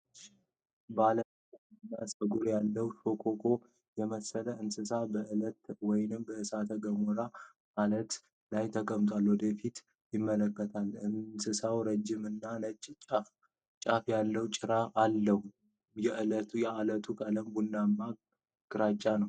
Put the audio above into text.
ባለ ነጠብጣብ ጸጉር ያለው ሽኮኮ የመሰለ እንስሳ በዐለት ወይም በእሳተ ገሞራ አለቶች ላይ ተቀምጦ ወደ ፊት ይመለከታል። እንስሳው ረዥም እና ነጭ ጫፍ ያለው ጭራ አለው። የዐለቶቹ ቀለም ቡናማና ግራጫ ነው።